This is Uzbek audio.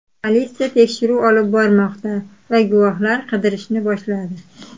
Politsiya tekshiruv olib bormoqda va guvohlar qidirishni boshladi.